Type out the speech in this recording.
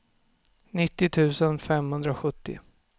nittio tusen femhundrasjuttio